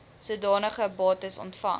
sodanige bates ontvang